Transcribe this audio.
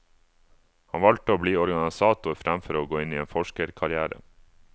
Han valgte å bli organisator fremfor å gå inn i en forskerkarrière.